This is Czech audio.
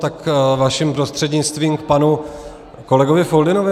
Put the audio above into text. Tak vaším prostřednictvím k panu kolegovi Foldynovi.